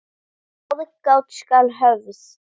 Aðgát skal höfð.